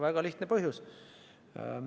Väga lihtne põhjus.